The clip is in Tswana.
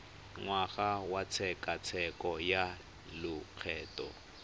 ngwaga wa tshekatsheko ya lokgetho